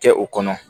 Kɛ o kɔnɔ